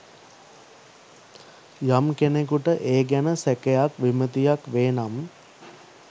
යම් කෙනෙකුට ඒ ගැන සැකයක් විමතියක් වේනම්